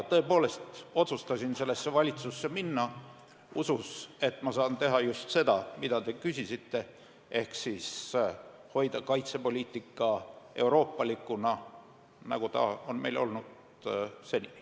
Tõepoolest otsustasin sellesse valitsusse minna usus, et ma saan teha just seda, mille kohta te küsisite, ehk hoida kaitsepoliitika euroopalikuna, nagu ta on meil senini olnud.